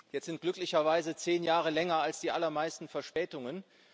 Jetzt sind glücklicherweise zehn Jahre länger als die allermeisten Verspätungen.